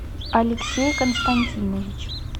алексей константинович